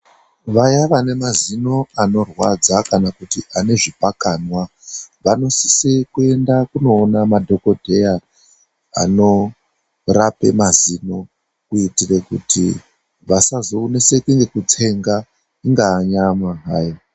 VAYA VANEMAZINO ANORWADZA KANA KUTI ANEZVIPAKANWA, VANOSISE KUENDE KUNOONA MADHOKODHEYA ANORAPE MAZINO KUITIRE KUTI VASAZONESEKE NEKUTSENGA INGAA NYAMA ZVAYO.